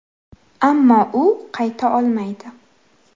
Ammo u qayta olmaydi.